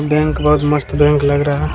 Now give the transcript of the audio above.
Bank बहोत मस्त bank लग रहा है।